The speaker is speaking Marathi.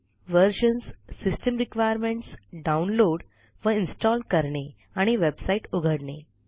व्हर्जन्स सिस्टम रिक्वायरमेंट्स डाउनलोड व इन्स्टॉल करणे आणि वेबसाईट उघडणे